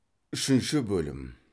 үшінші бөлім